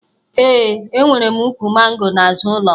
Ee, enwere m ukwu mango n'azụ ụlọ m